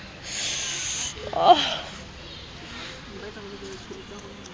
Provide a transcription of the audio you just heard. be e le ho fahla